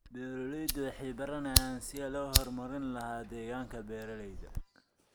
Beeraleydu waxay baranayaan sidii loo horumarin lahaa deegaanka beeralayda.